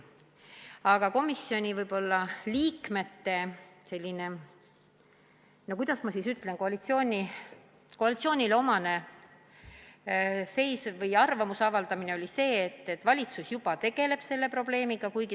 Aga komisjoni liikmete selline, no kuidas ma siis ütlen, koalitsioonile omane seisukoht oli see, et valitsus juba tegeleb selle probleemiga.